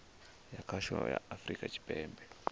ya khasho ya afurika tshipembe